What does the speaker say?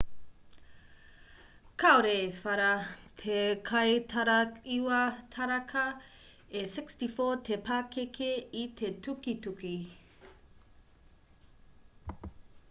kāore i whara te kaitaraiwa taraka e 64 te pakeke i te tukituki